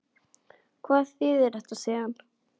Og hvað þýðir þetta síðan?